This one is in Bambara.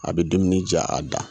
A bɛ dumuni jaa a da.